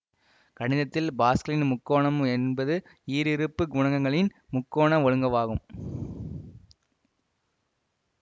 கணிதத்தில் பாஸ்கலின் முக்கோணம் என்பது ஈருறுப்பு குணகங்களின் முக்கோண ஒழுங்கவாகும்